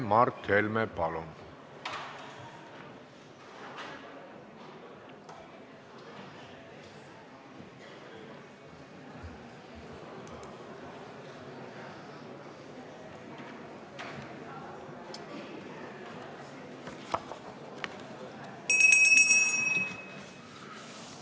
Mart Helme, palun!